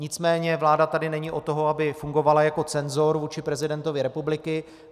Nicméně vláda tady není od toho, aby fungovala jako cenzor vůči prezidentovi republiky.